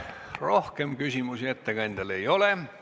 Rohkem küsimusi ettekandjale ei ole.